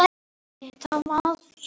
Þín Íris Björk.